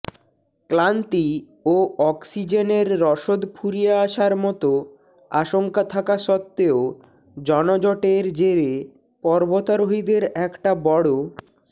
ক্লান্তি ও অক্সিজেনের রসদ ফুরিয়ে আসার মতো আশঙ্কা থাকা সত্ত্বেও জনজটের জেরে পর্বতারোহীদের একটা বড়